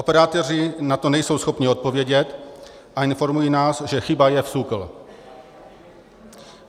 Operátoři na to nejsou schopni odpovědět a informují nás, že chyba je v SÚKLu.